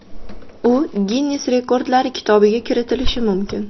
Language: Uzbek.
U Ginnes rekordlari kitobiga kiritilishi mumkin.